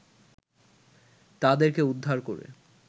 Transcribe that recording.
তাদেরকে উদ্ধার করে